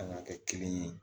An ka kɛ kelen ye